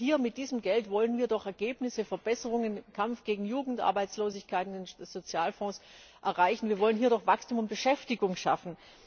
Denn hier mit diesem Geld wollen wir doch Ergebnisse, Verbesserungen im Kampf gegen Jugendarbeitslosigkeit, in den Sozialfonds erreichen, wir wollen hier doch Wachstum und Beschäftigung schaffen.